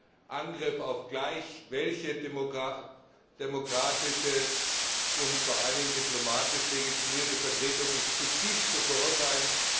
Ein Angriff auf gleich welche demokratische und vor allen Dingen diplomatisch legitimierte Vertretung ist zutiefst zu verurteilen.